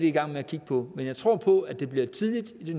i gang med at kigge på men jeg tror på at det bliver tidligt i